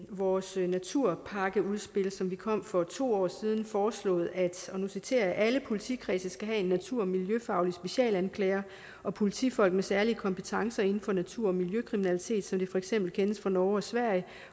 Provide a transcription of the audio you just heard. vores naturpakkeudspil som kom for to år siden foreslået at og nu citerer jeg alle politikredse skal have en natur og miljøfaglig specialanklager og politifolk med særlige kompetencer inden for natur og miljøkriminalitet som det for eksempel kendes fra norge og sverige